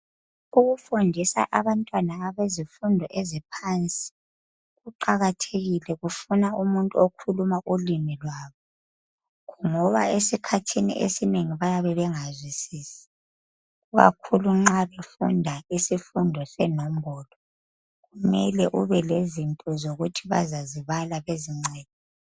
Ukufundisa abantwana abezifundo eziphansi kuqakathekile kufuna umuntu okhuluma ulimi lwabo ngoba esikhathini esinengi bayabe bengazwisisi ikakhulu nxa befunda isifundo senombolo kumele ubelezinto zokuthi bazazibala bezincede.